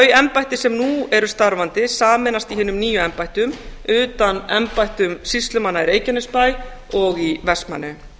þau embætti sem nú eru starfandi sameinast í hinum nýju embættum utan embættum sýslumanna í reykjanesbæ og í vestmannaeyjum